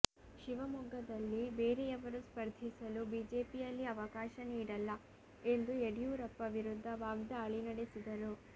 ಶಿವಮೊಗ್ಗದಲ್ಲಿ ಬೇರೆಯವರು ಸ್ಫರ್ಧಿಸಲು ಬಿಜೆಪಿಯಲ್ಲಿ ಅವಕಾಶ ನೀಡಲ್ಲ ಎಂದು ಯಡಿಯೂರಪ್ಪ ವಿರುದ್ದ ವಾಗ್ದಾಳಿ ನಡೆಸಿದರು